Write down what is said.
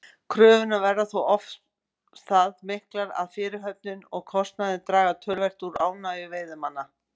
Kröfurnar verða þó oft það miklar að fyrirhöfnin og kostnaðurinn draga töluvert úr ánægju veiðimanna.